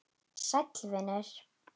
Sæll vinur